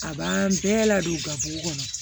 A b'an bɛɛ ladon u gafew kɔnɔ